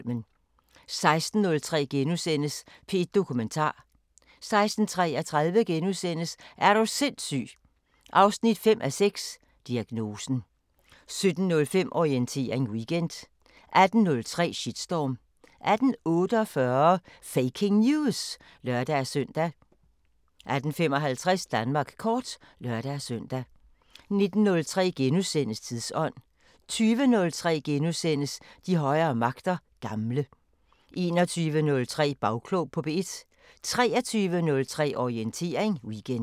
16:03: P1 Dokumentar * 16:33: Er du sindssyg 5:6 – Diagnosen * 17:05: Orientering Weekend 18:03: Shitstorm 18:48: Faking News! (lør-søn) 18:55: Danmark kort (lør-søn) 19:03: Tidsånd * 20:03: De højere magter: Gamle * 21:03: Bagklog på P1 23:03: Orientering Weekend